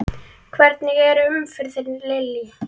Hvernig er umferðin Lillý?